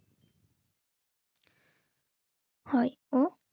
হ্যাঁ ও